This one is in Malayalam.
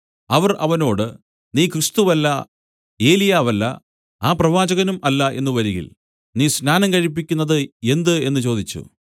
അവർ അവനോട് നീ ക്രിസ്തുവല്ല ഏലിയാവല്ല ആ പ്രവാചകനും അല്ല എന്നു വരികിൽ നീ സ്നാനം കഴിപ്പിക്കുന്നത് എന്ത് എന്നു ചോദിച്ചു